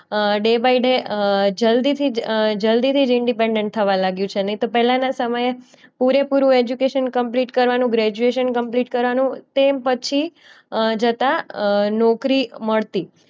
A day by day અમ જલ્દીથી અમ જલ્દીથી જ ઇન્ડિપેન્ડન્ટ થવા લાગ્યું છે નહીં તો પહેલાના સમયે પૂરેપૂરું એજ્યુકેશન કમ્પ્લીટ કરવાનું, ગ્રેજ્યુએશન કમ્પ્લીટ કરવાનું તે પછી અ જતા અ નોકરી મળતી.